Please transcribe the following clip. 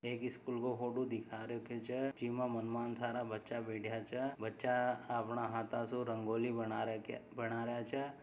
एक स्कूल का फोटो दिखा रखो छे जिसमें बहुत सारा बच्चा बैठा छे बच्चा अपने हाथों से रंगोली बना रहे छे।